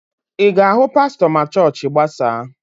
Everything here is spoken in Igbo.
Ị ga-ahụ pastọ ma chọọchị gbasaa?